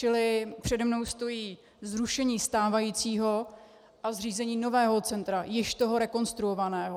Čili přede mnou stojí zrušení stávajícího a zřízení nového centra, již toho rekonstruovaného.